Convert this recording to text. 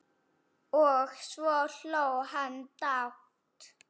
Og svo hló hann dátt!